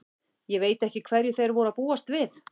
Ég veit ekki hverju þeir voru að búast við.